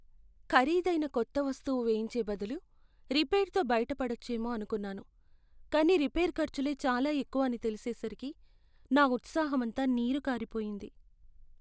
ఖరీదైన కొత్త వస్తువు వేయించే బదులు రిపేర్తో బయటడవచ్చేమో అనుకున్నాను, కానీ రిపేర్ ఖర్చులే చాలా ఎక్కువ అని తెలిసేసరికి నా ఉత్సాహం అంతా నీరు కారిపోయింది.